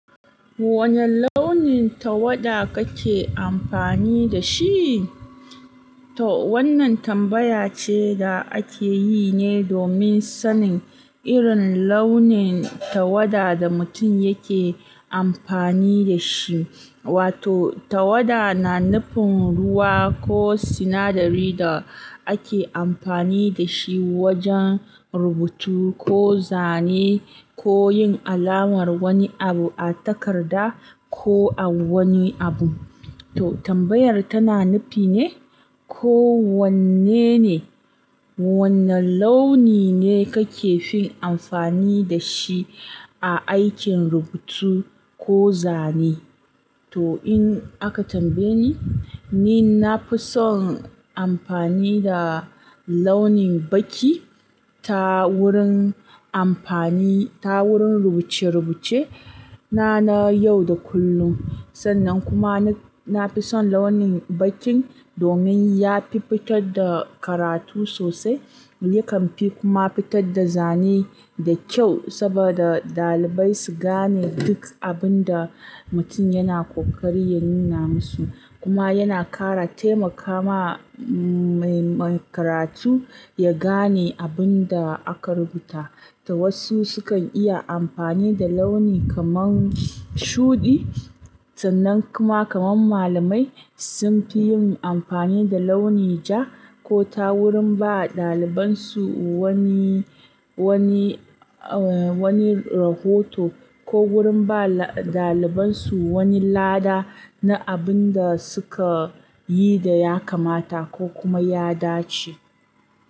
Wane launin tawada kake amfani da shi? To wannan tambaya ce da ake yi ne domin sanin irin launin tawada da mutum yake amfani da shi. Wato tawada na nufin ruwa ko sinadari da ake amfani da shi wajen rubutu ko zane ko yin alamar wani abu a takarda ko a wani abu. To tambayar tana nufine ko wanne ne, wane launi ne kakefin amfani da shi a aikin rubutu ko zane? To in aka tambaye ni, ni nafi son amfani da launin baƙi ta wurin amfani, ta wurin rubuce-rubuce. Na na yau da kullum. Sannan kuma nafi son launin baƙin domin yafi fitar da karatu sosai. Yakan fi kuma fitar da zane da kyau saboda ɗalibai su gane duk abin da mutum yana ƙoƙari ya nuna musu. Kuma yana ƙara taimakawa mai karatu ya gane abin da aka rubuta. To wasu sukan iya amfani da launi kaman shuɗi. Sannan kuma kaman malamai sun fi yin amfani da launi ja ko ta wurin ba ɗalibansu wani, wani, eh wani rahoto ko wurin ba ɗalibansu wani lada na abun da suka yi da ya kamata ko kuma ya dace.